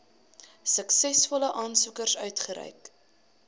suksesvolle aansoekers uitgereik